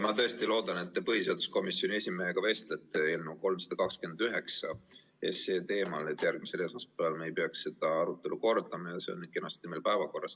Ma tõesti loodan, et te vestlete põhiseaduskomisjoni esimehega eelnõu 329 teemal, et me järgmisel esmaspäeval ei peaks seda arutelu kordama ja see oleks kenasti meil päevakorras.